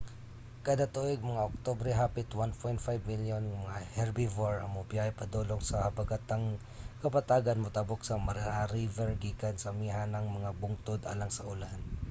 kada tuig mga oktubre hapit 1.5 milyon nga mga herbivore ang mobiyahe padulong sa habagatang kapatagan motabok sa mara river gikan sa amihanang mga bungtod alang sa ulan